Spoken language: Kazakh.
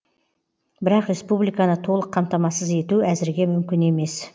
бірақ республиканы толық қамтамасыз ету әзірге мүмкін емес